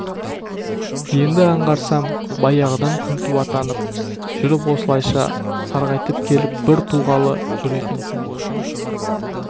енді аңғарсам баяғыдан күнту атанып жүріп осылайша сарғайтып келіп бір туғалы жүр екенсің ғой